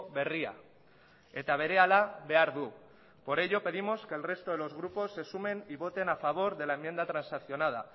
berria eta berehala behar du por ello pedimos que el resto de los grupos se sumen y voten a favor de la enmienda transaccionada